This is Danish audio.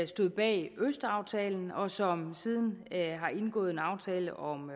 stod bag østaftalen og som siden har indgået en aftale om